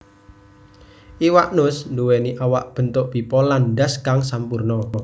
Iwak nus nduwèni awak bentuk pipa lan ndhas kang sampurna